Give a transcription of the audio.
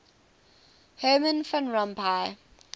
herman van rompuy